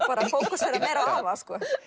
fókusera meira á afa